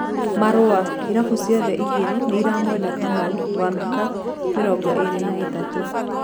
(Marũa) Irabũ ciothe igĩrĩ nĩiramwenda Kamau wa miaka mĩrongo ĩrĩ na ĩtatũ.